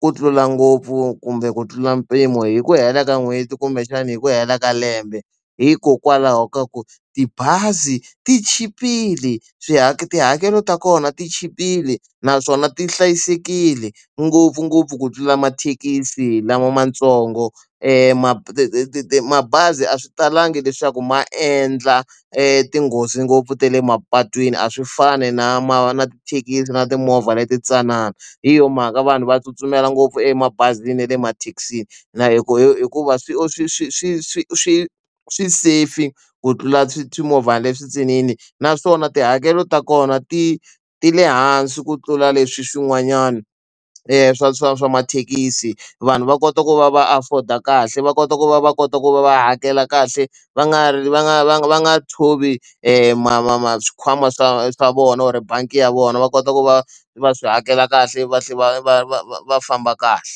ku tlula ngopfu kumbe ku tlula mpimo hi ku hela ka n'hweti kumbexana hi ku hela ka lembe hikokwalaho ka ku tibazi ti chipile swiharhi tihakelo ta kona ti chipile naswona ti hlayisekile ngopfungopfu ku tlula mathekisi lama matsongo mati mabazi a swi talangi leswaku ma endla etinghozi ngopfu ta le mapatwini a swi fani na ma na tithekisi na timovha leti ntsanana hi yo mhaka vanhu va tsutsumela ngopfu emabazini na le emathekisini na hikuva hikuva swi swi swi swi swi swi swi something ku tlula swimovhana le swintsinini naswona tihakelo ta kona ti ti le hansi ku tlula leswi swin'wanyana i swa swa swa mathekisi vanhu va kota ku va va afford a kahle va kota ku va va kota ku va va hakela kahle va nga ri va nga va nga va nga tshovi ma ma ma swikhwama swa swa vona or bangi ya vona va kota ku va va swi hakela kahle va tlhela va va va va va famba kahle.